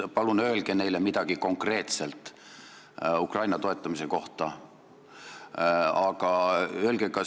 Palun öelge konkreetselt neile midagi Ukraina toetamise kohta!